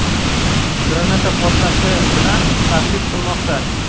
granata portlatish bilan tahdid qilmoqda.